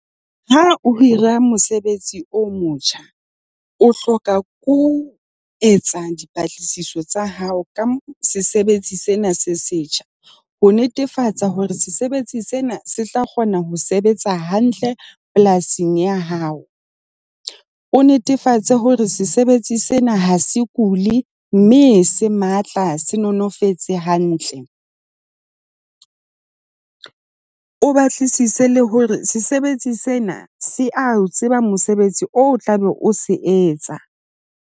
Ha o hira mosebetsi o motjha, o hloka ke ho etsa dipatlisiso tsa hao ka sesebetsi sena se setjha. Ho netefatsa hore sesebetsi sena se tla kgona ho sebetsa hantle polasing ya hao. O netefatse hore sesebetsi sena ha se kule mme se matla, se, no, no fetse hantle. O batlisise le hore sesebetsi sena se a tseba mosebetsi o tlabe o se etsa.